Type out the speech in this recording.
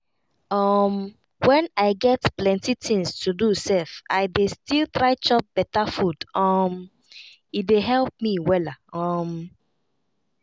um when i get plenty things to do sef i dey still try chop beta food um e dey help me wella. um